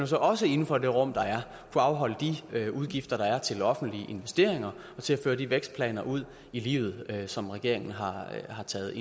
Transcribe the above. så også inden for det rum der er kunne afholde de udgifter der er til offentlige investeringer og til at føre de vækstplaner ud i livet som regeringen har taget